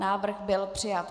Návrh byl přijat.